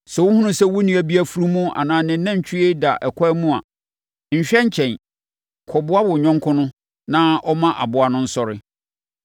Sɛ wohunu sɛ wo nua bi afunumu anaa ne nantwie da ɛkwan mu a, nhwɛ nkyɛn. Kɔboa wo yɔnko no na ɔmma aboa no nsɔre.